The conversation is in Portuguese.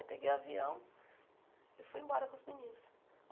Aí peguei o avião e fui embora com os meninos.